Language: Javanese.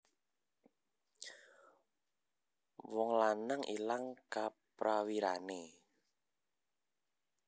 Wong lanang ilang kaprawirane